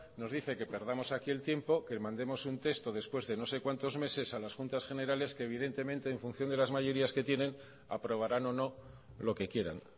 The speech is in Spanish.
nos dice que perdamos aquí el tiempo que mandemos un texto después de no sé cuantos meses a las juntas generales que evidentemente en función de las mayorías que tienen aprobaran o no lo que quieran